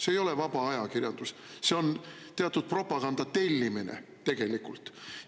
See ei ole vaba ajakirjandus, see on teatud propaganda tellimine tegelikult.